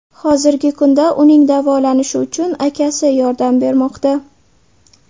Hozirgi kunda uning davolanishi uchun akasi yordam bermoqda.